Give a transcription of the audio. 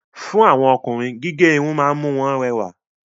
Fún àwọn Ọkùnrin, gígé Irun ma ń mú wọn rẹwà